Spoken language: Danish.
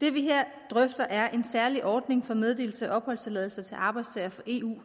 det vi her drøfter er en særlig ordning for meddelelse af opholdstilladelse til arbejdstagere fra eu